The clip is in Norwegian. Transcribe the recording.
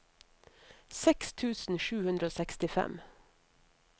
seks tusen sju hundre og sekstifem